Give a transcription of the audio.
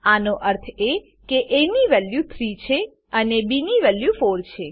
આનો અર્થ એ કે એ ની વેલ્યુ 3 છે અને બી ની વેલ્યુ 4 છે